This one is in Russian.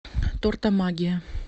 тортомагия